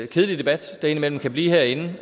kedelige debat der indimellem kan blive herinde